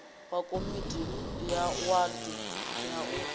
wa komiti ya wadi a